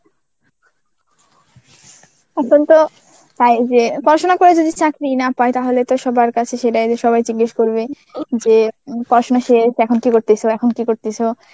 এখন তো তাই যে পড়াশোনা করে যদি চাকরি না পায় তাহলে তো সবার কাছে সেটা যে সবাই জিজ্ঞেস করবে যে পড়াশুনা শেষ এখন কি করতেসো? এখন কি করতাছো?